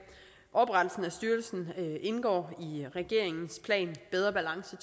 oprettelsen af styrelsen indgår i regeringens plan bedre balance